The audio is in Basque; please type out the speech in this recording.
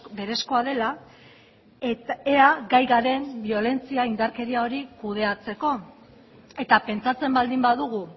berezkoa dela ea gai garen biolentzia indarkeria hori kudeatzeko eta pentsatzen baldin badugu